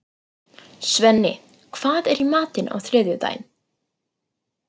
Svenni, hvað er í matinn á þriðjudaginn?